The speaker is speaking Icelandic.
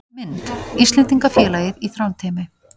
Mynd: Íslendingafélagið í Þrándheimi